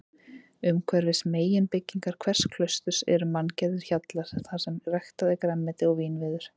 Umhverfis meginbyggingar hvers klausturs eru manngerðir hjallar þarsem ræktað er grænmeti og vínviður.